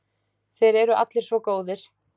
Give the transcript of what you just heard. Þeir eru allir svo góðir.